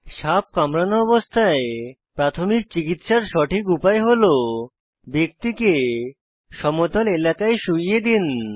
সাপ কামড়ানো অবস্থায় প্রাথমিক চিকিত্সার সঠিক উপায় হল ব্যক্তিকে সমতল এলাকায় শুয়িয়ে দিন